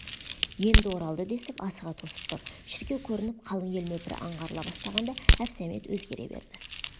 енді оралды десіп асыға тосып тұр шіркеу көрініп қалың ел нөпірі аңғарыла бастағанда әбсәмет өзгере берді